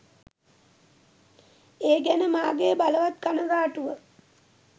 ඒ ගැන මාගේ බලවත් කනගාටුව.